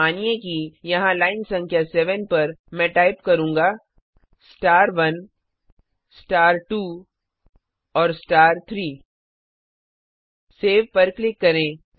मानिए कि यहां लाइन संख्या 7 पर मैं टाइप करूंगा star1 star2 और star3 सेव पर क्लिक करें